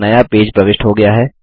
एक नया पेज प्रविष्ट हो गया है